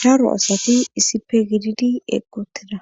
daro asati issipe gididi eqqi utida